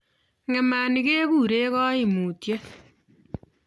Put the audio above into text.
Ng'emani kekure kaimutyet